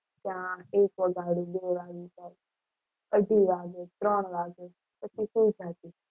અઢી વાગે ત્રણ વાગ્યા પછી સૂઈ જતી.